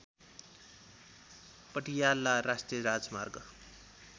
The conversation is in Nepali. पटियाला राष्‍ट्रिय राजमार्ग